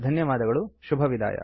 ಧನ್ಯವಾದಗಳು ಶುಭವಿದಾಯ